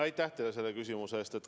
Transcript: Aitäh teile selle küsimuse eest!